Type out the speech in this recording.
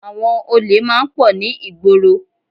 Àwọn olè máa ń pọ̀ ní ìgboro